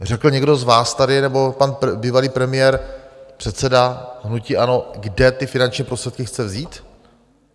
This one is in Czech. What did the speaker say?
Řekl někdo z vás tady, nebo pan bývalý premiér, předseda hnutí ANO, kde ty finanční prostředky chce vzít?